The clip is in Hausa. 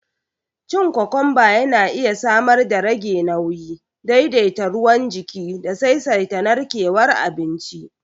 Cin kokomba yana iya samar darage nauyi, daidaita ruwan jiki da saisaita narkewar abinci